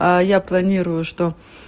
а я планирую что